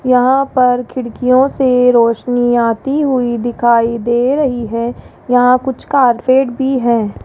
यहां पर खिड़कियों से रोशनी आती हुई दिखाई दे रही है यहां कुछ कारपेट भी हैं।